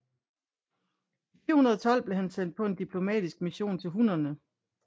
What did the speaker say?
I 412 blev han sendt på diplomatisk mission til hunnerne